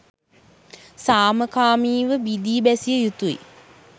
සමාකමීව වීදි බැසිය යුතුයි.